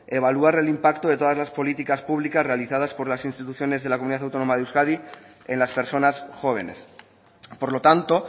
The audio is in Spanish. evaluar el impacto de todas las políticas públicas realizadas por las instituciones de la comunidad autónoma de euskadi en las personas jóvenes por lo tanto